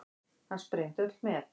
Hann sprengdi öll met.